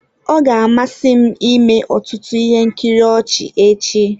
Ọ ga-amasị m ịme ọtụtụ ihe nkiri ọchị echi.